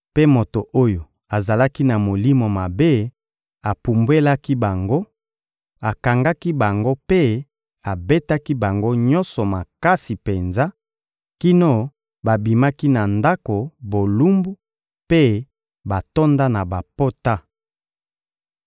Mpe moto oyo azalaki na molimo mabe apumbwelaki bango, akangaki bango mpe abetaki bango nyonso makasi penza kino babimaki na ndako bolumbu mpe batonda na bapota.